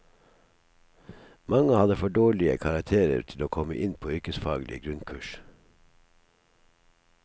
Mange hadde for dårlige karakterer til å komme inn på yrkesfaglige grunnkurs.